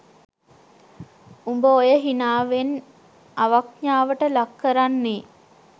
උඹ ඔය හිනාවෙන් අවඤඥාවට ලක් කරන්නේ